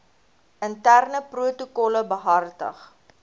interne protokolle behartig